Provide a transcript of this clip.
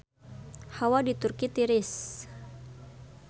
Hawa di Turki tiris